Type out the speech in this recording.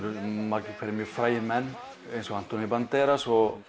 margir hverjir mjög frægir menn eins og antonio Banderas og